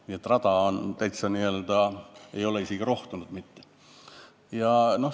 Nii et rada ei ole isegi rohtunud mitte.